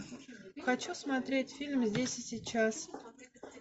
хочу смотреть фильм здесь и сейчас